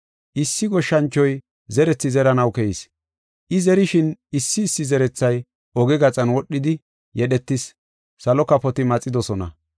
“Issi goshshanchoy zerethi zeranaw keyis. I zerishin issi issi zerethay oge gaxan wodhidi yedhetis, salo kafoti maxidosona.